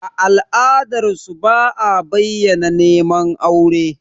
A ala'adarsu, ba a bayyana neman aure.